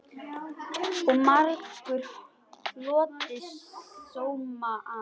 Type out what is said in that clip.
Og margur hlotið sóma af.